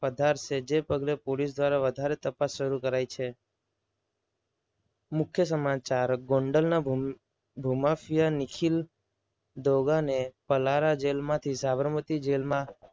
વધાર છે જે પગલે પોલીસ તંત્ર દ્વારા વધારે તપાસ શરૂ કરાય છે. મુખ્ય સમાચાર ગોંડલના ભૂ માફિયા નિખિલ ડોગાને પલારા જેલમાંથી સાબરમતી જેલમાં